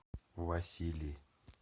василий